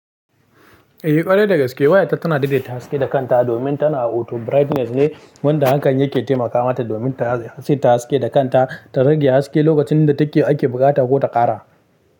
Eh, ƙwarai da gaske wayata tana daidaita haske da kanta domin tana auto brightness ne wanda hakan yake taimaka mata domin ta saita haske da kanta ta rage haske lokacin da take ake buƙata ko ta ƙara.